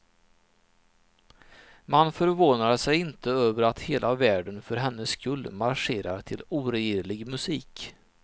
Man förvånar sig inte över att hela världen för hennes skull marscherar till oregerlig musik.